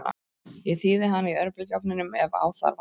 Ég þíði hana í örbylgjuofninum ef á þarf að halda.